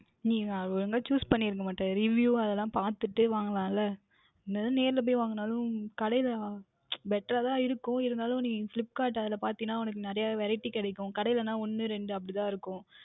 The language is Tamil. நீங்கள் ஒழுங்காக Choose பண்ணி இருக்கமாட்டீர்கள் review அதுயெல்லாம் பார்த்துவிட்டு வாங்கலாம் ல என்னதான் நேருல போய் வாங்கினாலும் கடையில் Better அஹ் தான் இருக்கும் நீங்கள் flipkart அதில் பார்தீர்களென்றால் நிறைய Variety கிடைக்கும் கடையில் என்றால் ஒன்று இரண்டு தான் இருக்கும்